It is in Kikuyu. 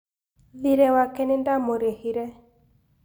thirĩ wake nĩndamũrĩhire